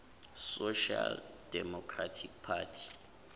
social democratic party